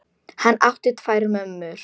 Hann átti tvær mömmur.